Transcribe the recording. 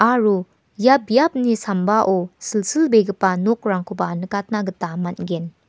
aro ia biapni sambao silsilbegipa nokrangkoba nikatna gita man·gen.